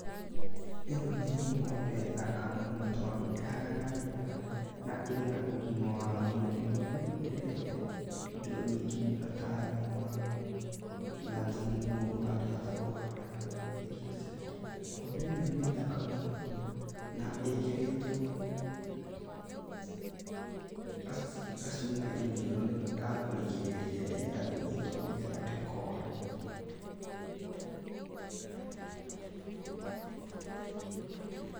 Ino nĩ ng'ombe thaka mũno tondũ ĩhana wega na ĩna ũgima wa mwĩrĩ, ng'ombe ĩno ĩrehete indo nyingĩ mũno ta nyama, na thumu mũndũ angĩhota kũhanda naguo irio ciake. Ng'ombe ĩno nĩ thaka mũno na ĩkĩrĩtwo gacuma iniũrũ, ga kũrigĩrĩria yenda kũnyitwonĩ getha ndĩkore.